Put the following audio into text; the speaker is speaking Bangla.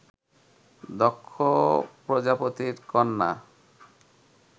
দক্ষ প্রজাপতির কন্যা